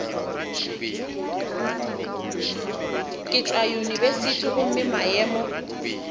ke tšwa yunibesithing gomme maemo